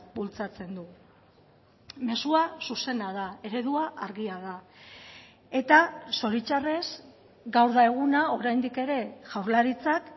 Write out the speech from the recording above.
bultzatzen du mezua zuzena da eredua argia da eta zoritxarrez gaur da eguna oraindik ere jaurlaritzak